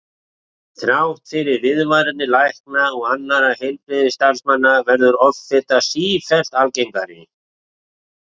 Þrátt fyrir viðvaranir lækna og annarra heilbrigðisstarfsmanna verður offita sífellt algengari.